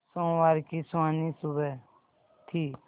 सोमवार की सुहानी सुबह थी